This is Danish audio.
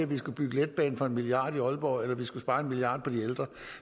vi skulle bygge letbane for en milliard i aalborg eller om vi skulle spare en milliard på de ældre